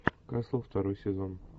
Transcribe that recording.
касл второй сезон